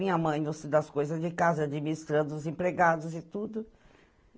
Minha mãe moça das coisas de casa, administrando os empregados e tudo.